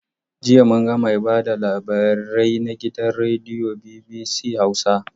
Jiya mun ga mai ba da labarai na gidan rediyon BBC Hausa.